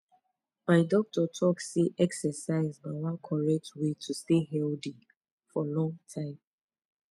my doctor talk say exercise na one correct way to stay healthy for long time